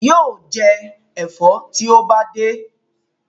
Yóò jẹ ẹ̀fọ́ tí ó bá dé.